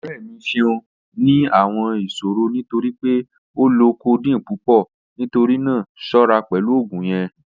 Ọrẹ mi ṣẹun ni awọn iṣòrọ̀ nítorí pé ó lọ codeine pupọ̀, nítorí náà ṣọra pẹ̀lú ogun yẹn